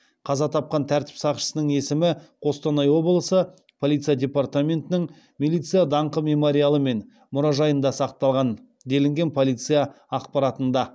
қаза тапқан тәртіп сақшысының есімі қостанай облысы полиция департаментінің милиция даңқы мемориалы мен мұражайында сақталған делінген полиция ақпаратында